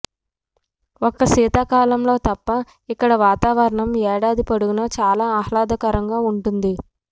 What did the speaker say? ఒక్క శీతాకాలంలో తప్ప ఇక్కడ వాతావరణం ఏడాది పొడుగునా చాలా ఆహ్లాదకరంగా ఉంటుంది